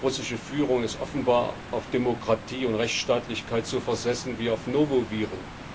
Die russische Führung ist offenbar auf Demokratie und Rechtstaatlichkeit so versessen wie auf Noroviren.